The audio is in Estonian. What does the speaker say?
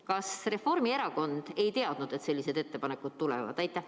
Kas Reformierakond ei teadnud, et sellised ettepanekud tulevad?